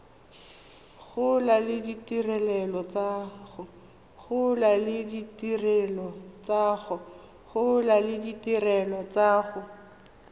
gola le ditirelo tsa go